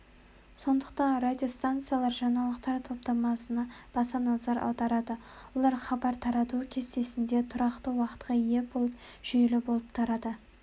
сондықтан радиостанциялар жаңалықтар топтамасына баса назар аударады олар хабар тарату кестесінде турақты уақытқа ие болып жүйелі тарап отырады